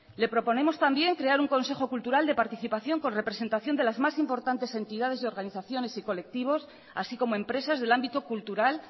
le proponemos también crear un consejo cultural de participación con representación de las más importantes entidades organizaciones y colectivos así como empresas del ámbito cultural